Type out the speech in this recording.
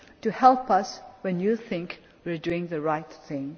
to help us when you think we are doing the right